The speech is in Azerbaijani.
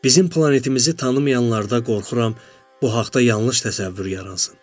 Bizim planetimizi tanımayanlarda qorxuram, bu haqda yanlış təsəvvür yaransın.